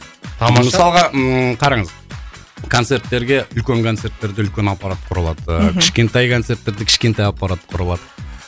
тамаша мысалға ммм қараңыз концерттерге үлкен концерттерде үлкен аппарат құрылады мхм кішкентай концерттерде кішкентай аппарат құрылады